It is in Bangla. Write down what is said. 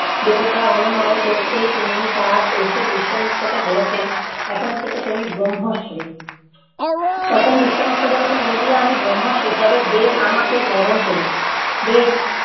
দেবতা অনুনয় কোরতে তিনি তার এসে বিশ্বমিত্রকে বলেছেন এখন থেকে তুমি ব্রহ্মর্ষি। তখন বিশ্বমিত্র বলেছেন, যদি আমি ব্রহ্মর্ষি তবে বেদ আমাকে বরণ করুক। বেদ